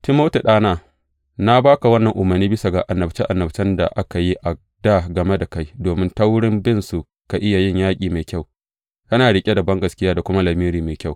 Timoti, ɗana, na ba ka wannan umarni bisa ga annabce annabcen da aka yi a dā game da kai, domin ta wurin binsu ka iya yin yaƙi mai kyau, kana riƙe da bangaskiya da kuma lamiri mai kyau.